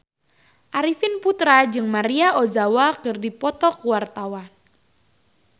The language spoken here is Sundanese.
Arifin Putra jeung Maria Ozawa keur dipoto ku wartawan